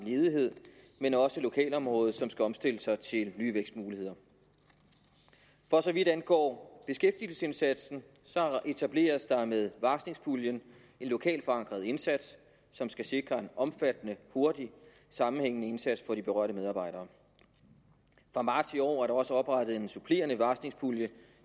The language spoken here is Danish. ledighed og lokalområdet som skal omstille sig til nye vækstmuligheder for så vidt angår beskæftigelsesindsatsen etableres der med varslingspuljen en lokalt forankret indsats som skal sikre en omfattende hurtig sammenhængende indsats for de berørte medarbejdere fra marts i år er der også oprettet en supplerende varslingspulje